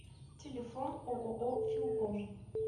телефон ооо филком